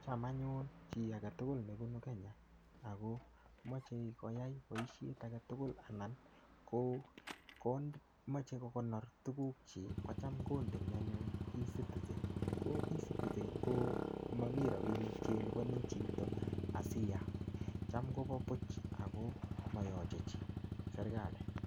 Cham anyun chi age tugul nebunu Kenya, agomache koyai boisiet age tugul anan ko komache kokonor tuguk chik, kocham kondeni anyun E-citizen. Ko E-citizen ko mamii rabinik che lipani chito asiyat. Cham kobo buch ako mayache chii serikali.